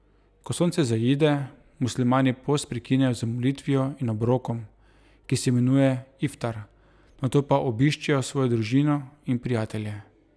Ko sonce zaide, muslimani post prekinejo z molitvijo in obrokom, ki se imenuje iftar, nato pa obiščejo svojo družino in prijatelje.